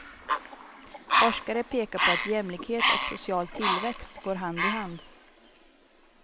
Forskare pekar på att jämlikhet och social tillväxt går hand i hand.